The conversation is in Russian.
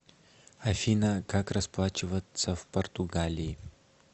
афина как расплачиваться в португалии